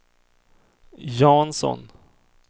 Jansson